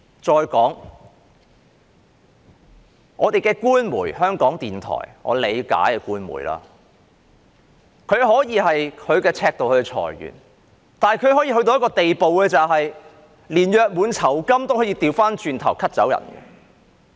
再說，香港的官媒——香港電台，即我理解的官媒，可以按其尺度來裁員，但也可以到一個地步，連僱員的約滿酬金也 cut 掉。